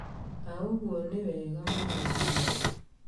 Na ũguo nĩ wega mũno biũ.